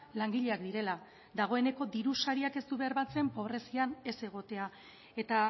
langileak direla dagoeneko dirusariak ez du bermatzen pobrezian ez egotea eta